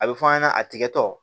A bɛ fɔ an ɲɛna a tigɛtɔ